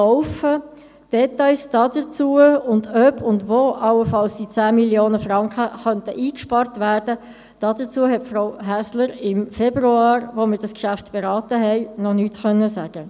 Zu den Details, ob und wo allenfalls die 10 Mio. Franken eingespart werden könnten, hat uns Frau Häsler im Februar, als wir das Geschäft berieten, noch nichts sagen können.